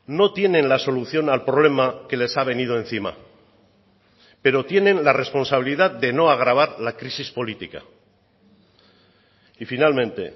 no tienen la solución al problema que les ha venido encima pero tienen la responsabilidad de no agravar la crisis política y finalmente